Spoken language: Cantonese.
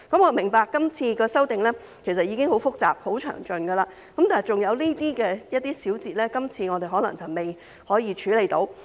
我明白今次的修訂已經很複雜、很詳盡，但有些細節可能仍未處理得到。